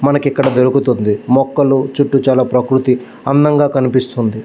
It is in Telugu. మనకి ఇక్కడ ఒక ట్యూబ్ వుంది. మోకాళ్ళు చూతు చాల ప్రకృతి చాల అందం గ కనిపిస్తుంది.